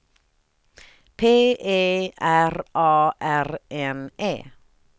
P E R A R N E